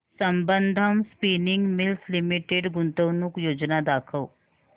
Sambandam spinning mills limited गुंतवणूक योजना दाखव